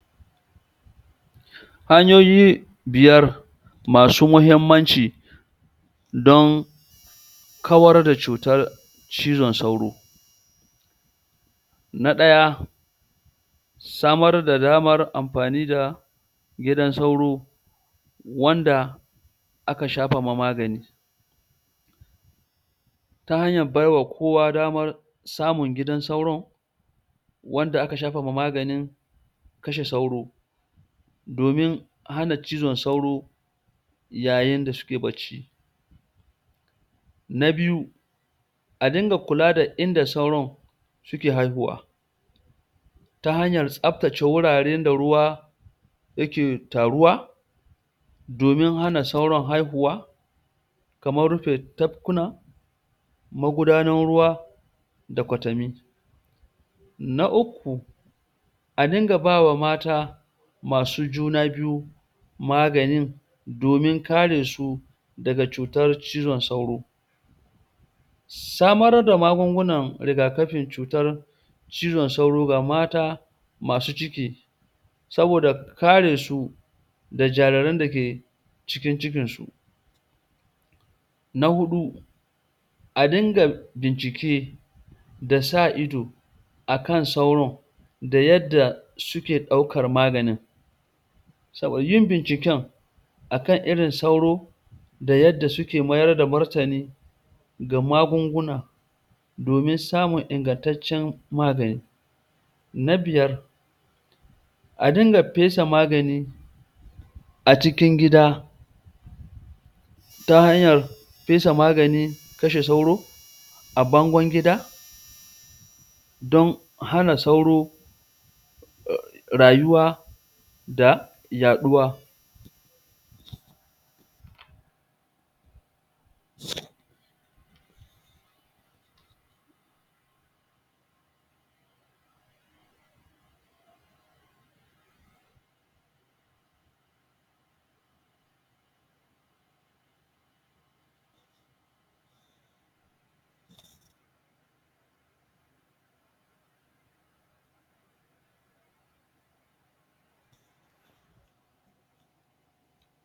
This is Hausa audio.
hanyoyi biyar masu mahimmanci don kawar da cutar cizon sauro na ɗaya samar da damar amfani da gidan sauro wanda aka shafa ma magani ta hanyar bai wa kowa damar samun gidan sauro wanda aka shafawa magani kashe sauro domin hana cizon sauro yayin da suke bacci na biyu a dinga kula da inda sauron suke haihuwa ta hanyar tsaftace wuraren da ruwa yake taruwa domin hana sauron haihuwa kamar rufe tafkunan magudanar ruwa da kwatami na uku a dinga bawa mata masu juna biyu maganin domin karesu daga cutar cizon sauron samar da magunguna rigakafin cutar cizon sauro ga mata masu ciki saboda karesu da jariran da ke cikin cikinsu na huɗu a dinga bincike da sa ido akan sauron da yadda suke daukar maganin saboda yin binciken akan irin sauron da yarda suke mayar da martani ga magunguna domin samun ingantancen magani na biyar a dinga fesa magani a cikin gida ta hanyar fesa maganin kashe sauro a bangon gida don hana sauro rayuwa da yaɗuwa